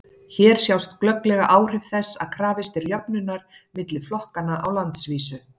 hér sjást glögglega áhrif þess að krafist er jöfnunar milli flokkanna á landsvísu